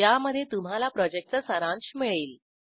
ज्यामध्ये तुम्हाला प्रॉजेक्टचा सारांश मिळेल